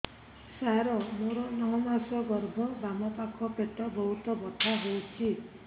ସାର ମୋର ନଅ ମାସ ଗର୍ଭ ବାମପାଖ ପେଟ ବହୁତ ବଥା ହଉଚି